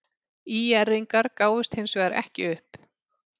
ÍR-ingar gáfust hins vegar ekki upp.